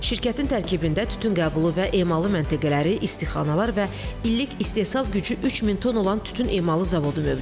Şirkətin tərkibində tütün qəbulu və emalı məntəqələri, istixanalar və illik istehsal gücü 3000 ton olan tütün emalı zavodu mövcuddur.